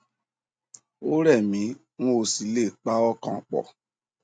ó rẹ mí n ò sì le è pa ọkàn pọ